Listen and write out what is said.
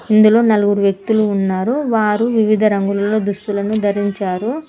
ఇందులో నలుగురు వ్యక్తులు ఉన్నారు వారు వివిధ రంగులలో దుస్తులను ధరించారు.